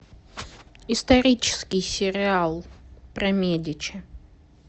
исторический сериал про медичи